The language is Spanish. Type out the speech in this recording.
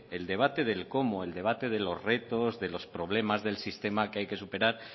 el debate del cómo el debate de los retos de los problemas del sistema que hay superar